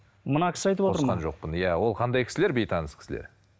мына кісі айтып отыр ма иә ол қандай кісілер бейтаныс кісілер